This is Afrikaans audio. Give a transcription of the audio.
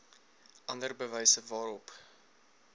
ander bewyse waarop